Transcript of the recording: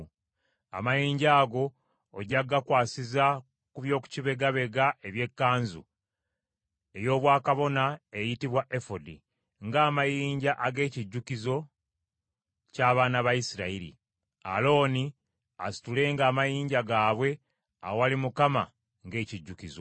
Amayinja ago ojja gakwasiza ku by’okubibegabega eby’ekkanzu ey’obwakabona eyitibwa efodi, ng’amayinja ag’ekijjukizo ky’abaana ba Isirayiri. Alooni asitulenga amannya gaabwe awali Mukama ng’ekijjukizo.